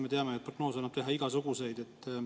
Me teame, et prognoose annab teha igasuguseid.